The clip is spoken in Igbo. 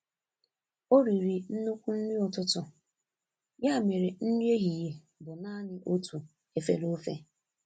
O riri nnukwu nri ụtụtụ, ya mere nri ehihie bụ naanị otu efere ofe.